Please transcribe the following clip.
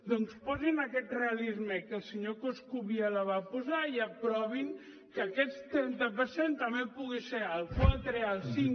doncs posin aquest realisme que el senyor coscubiela va posar i aprovin que aquest trenta per cent també pugui ser al quatre al cinc